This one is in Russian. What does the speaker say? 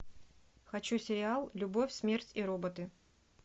хочу сериал любовь смерть и роботы